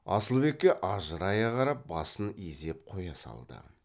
асылбекке ажырая қарап басын изеп қоя салды